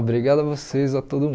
Obrigado a vocês, a todo